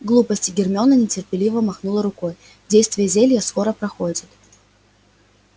глупости гермиона нетерпеливо махнула рукой действие зелья скоро проходит